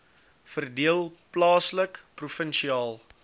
verdeel plaaslik provinsiaal